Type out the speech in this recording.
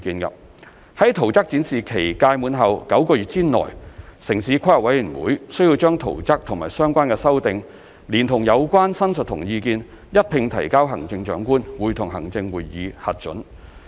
在圖則展示期屆滿後9個月內，城市規劃委員會須把圖則和相關修訂，連同有關申述和意見，一併提交行政長官會同行政會議核准。